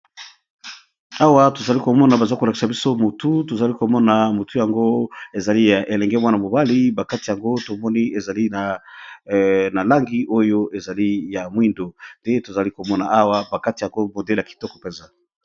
Awa tozali komona baza kolakisa biso motu tozali komona motu, yango ezali ya elenge mwana mobali bakati yango tomoni ezali na langi oyo ezali ya moindo, nde tozali komona awa bakati yango modele ya kitoko mpenza.